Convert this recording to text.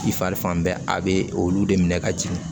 I fari fan bɛɛ a bɛ olu de minɛ ka jigin